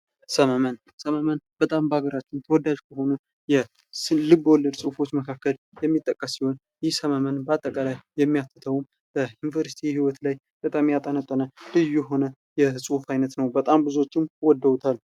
ሰመመን:- ሰመመን በጣም በሀገራችን ተወዳጅ ከሆኑ ልብ ወለድ ፅሁፎች መካከል የሚጠቀስ ሲሆን ይህ ሰመመን በአጠቃላይ የሚያትተዉም በዩኒቨርስቲ ህይወት ላይ በጣም ያጠነጠነ ልዩ የሆነ የፅሁፍ አይነት ነዉ። በጣም ብዙዎቹ ወደዉታል።